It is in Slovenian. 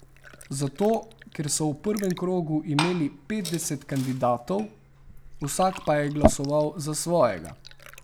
Zato, ker so v prvem krogu imeli petdeset kandidatov, vsak pa je glasoval za svojega.